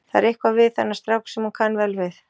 Það er eitthvað við þennan strák sem hún kann vel við.